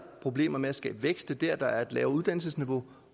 problemer med at skabe vækst og det er der der er et lavere uddannelsesniveau